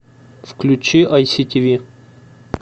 включи ай си тв